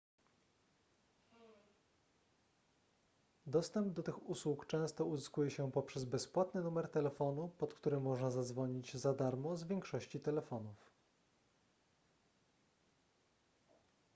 dostęp do tych usług często uzyskuje się poprzez bezpłatny numer telefonu pod który można zadzwonić za darmo z większości telefonów